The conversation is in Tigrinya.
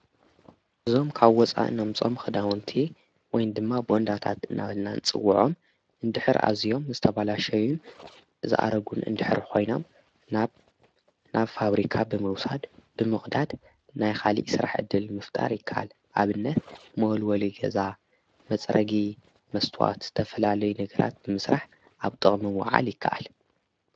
እዞም ካብ ወፃኢ እነምጾም ኽዳወንቲ ወይን ድማ ቦንዳታት እናበልና ንፅውዖም እንድሕር ኣዚዮም ምስተባላሸዩን ዝኣረጉን እንድሕር ኾይኖም ናብ ፋብሪካ ብምውሳድ ብምቕዳድ ናይ ኻልእ ስራሕ እድል ምፍጣር ይከኣል ኣብነት መወልወል ገዛ መፅረጊ መስትዋት ዝተፈላለየ ነገራት ብምስራሕ ኣብ ጥቕሚ ምውዓል ይከኣል።